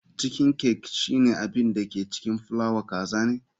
Chiken cake shine abin da ke cikin fulawa kaza ne.